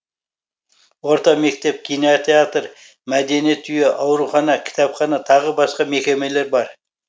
орта мектеп кинотеатр мәдениет үйі аурухана кітапхана тағы басқа мекемелер бар